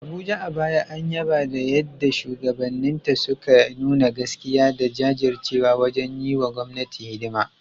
Abuja, a baya an yaba da yadda shugabanninta suka nuna gaskiya da jajircewa wajen yi wa gwamnati hidima.